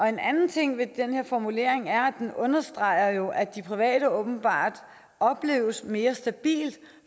en anden ting ved den her formulering er at den jo understreger at de private åbenbart opleves som mere stabile